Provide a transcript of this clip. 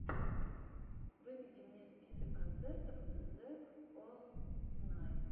выведи мне список концертов зэкостнайн